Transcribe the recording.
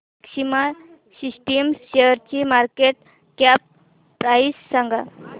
maxima Systems शेअरची market cap price सांगा